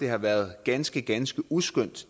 har været ganske ganske uskønt